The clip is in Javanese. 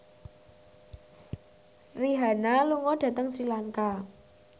Rihanna lunga dhateng Sri Lanka